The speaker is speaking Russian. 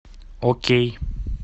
окей